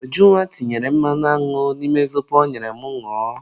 Ujunwa tinyere mmanụ aṅụ n'ime zobo ọ nyere m ñụọ